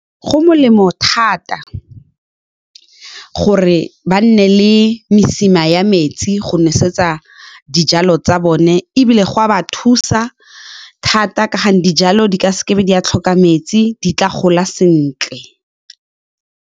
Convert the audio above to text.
Go molemo thata gore ba nne le mesima ya metsi go nosetsa dijalo tsa bone, ebile go a ba thusa thata ka gonne dijalo di ka seke ba di a tlhoka metsi di tla gola sentle.